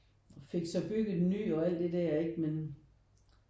Og fik så bygget en ny og alt det der men